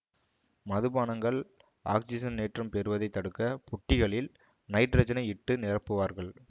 மது பானங்கள் ஆக்சிஜனேற்றம் பெறுவதைத் தடுக்க புட்டிகளில் நைட்ரஜனை இட்டு நிரப்புவார்கள்